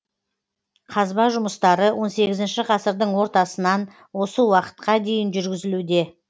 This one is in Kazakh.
қазба жұмыстары он сегізінші ғасырдың ортасынан осы уақытқа дейін жүргізілуде